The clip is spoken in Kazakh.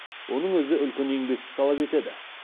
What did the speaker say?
оның өзі үлкен еңбекті талап етеді